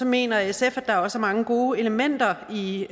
mener sf at der også er mange gode elementer i